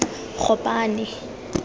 gopane